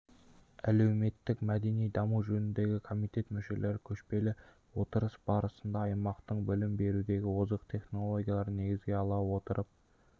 әлеуметтік-мәдени даму жөніндегі комитет мүшелері көшпелі отырыс барысында аймақтың білім берудегі озық технологияларын негізге ала отырып